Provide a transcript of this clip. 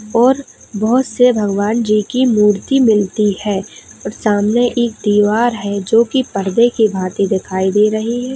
और बहोत से भगवान जी की मूर्ति मिलती है और सामने एक दीवार है जो की पर्दे के भांति दिखाई दे रही है।